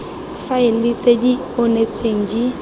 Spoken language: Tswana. faele tse di onetseng di